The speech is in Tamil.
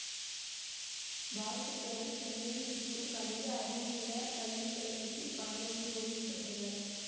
பாசுக்கரன் சென்னையில் இருக்கும் கணித அறிவியல கல்விக்கழகத்தில் பணியாற்றி ஓய்வு பெற்றவர்